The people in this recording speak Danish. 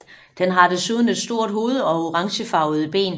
Den har desuden et stort hoved og orangefarvede ben